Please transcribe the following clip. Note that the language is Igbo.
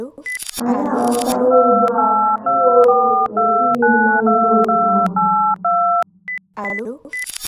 Anyị aghọtawo ugbu a na inwe obi ụtọ esighị nnọọ ike otú ahụ.